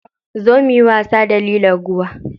Zo muyi wasa da lilon ruwa.